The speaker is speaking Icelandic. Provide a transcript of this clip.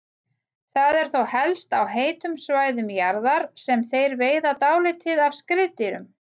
Það er þó helst á heitum svæðum jarðar sem þeir veiða dálítið af skriðdýrum.